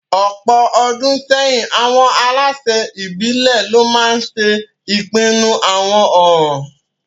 Ọ̀pọ̀ ọdún sẹ́yìn, àwọn aláṣẹ ìbílẹ̀ lo maa ńse ipinnu àwọn ọ̀ràn